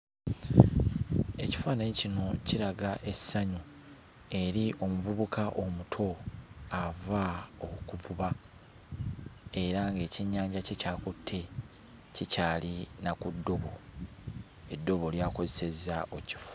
Ekifaananyi kino kiraga essanyu eri omuvubuka omuto ava okuvuba era ng'ekyennyanja kye ky'akutte kikyali na ku ddobo; eddobo ly'akozesezza okkifu...